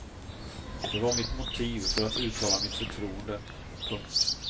Det var mitt motiv för att uttala mitt förtroende. punkt